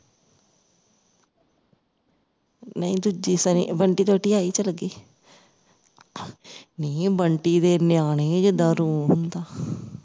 ਨਹੀਂ ਦੂਜੀ ਸੰਨੀ ਬੰਟੀ ਦੀ ਵਹੁਟੀ ਚਲ ਅਗੇ ਨਿ ਬੰਟੀ ਦੇ ਨਿਆਣੇ ਜਿੱਦਾਂ ਰੂਹ ਹੁੰਦਾ